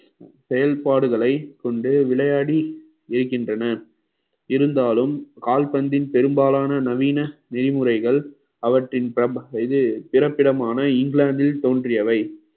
செயல்பாடுகளை கொண்டு விளையாடி இருக்கின்றன இருந்தாலும் கால்பந்தின் பெரும்பாலான நவீன நெறிமுறைகள் அவற்றின் பிற~ இது பிறப்பிடமான இங்கிலாந்தில் தோன்றியவை